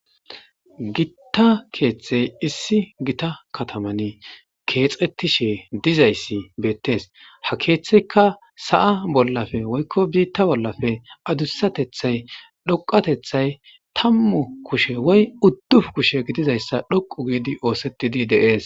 Gitta keeththey issi gita kataman keexettishe dizayssi beettees ha keeththeyka sa'a bollafe woykko biitta bollafe adussatethay dhoqatethay tammu kushe woy udduf kushe gidizayssa dhoqu giidi oosettidi deees.